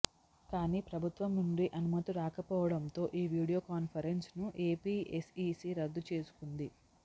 కానీ ప్రభుత్వం నుండి అనుమతి రాకపోవడంతో ఈ వీడియో కాన్ఫరెన్స్ ను ఏపీ ఎస్ఈసీ రద్దు చేసుకొంది